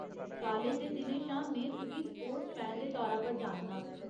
College दे दिनें शा में तुगी स्पोर्ट्स फैन दे तौरा पर जाननां ।